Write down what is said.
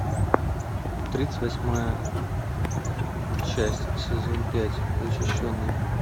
тридцать восьмая часть сезон пять защищенные